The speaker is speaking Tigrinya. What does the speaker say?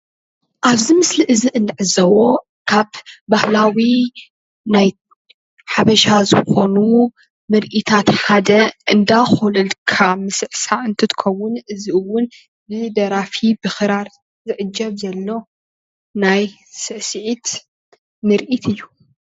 ኣብዚ ምስሊ እዚ እንዕዘቦ ካብ ባህላዊ ናይ ሓበሻ ዝኮኑ ምርእታት ሓደ እንዳኮለልካ ምስዕሳዕ እንትትከውን ብደራፊ ብክራር ዝዕጀብ ዘሎ ናይ ስዕሲዒት ምርኢት እዩ፡፡